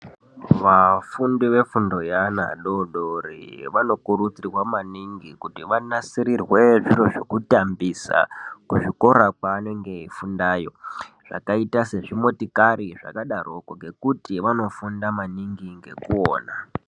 Vafundi vefundo yeana adodori vanokurudzirwa maningi kuti vanasirirwe zviro zvekutambisa kuzvikoro kwaanenge eifundayo zvakaite sezvimotokari zvakadaroko ngekuti vanofunda maningi ngekuona.